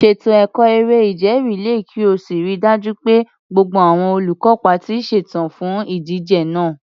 Ṣètò ẹ̀kọ́ eré-ìje rìléè kí o sì rí i dájú pé gbogbo àwọn olùkópa ti ṣetán fún ìdíje náà.